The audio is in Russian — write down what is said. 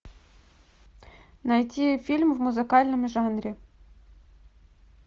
найти фильм в музыкальном жанре